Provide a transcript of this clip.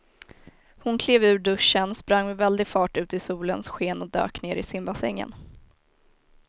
Hon klev ur duschen, sprang med väldig fart ut i solens sken och dök ner i simbassängen.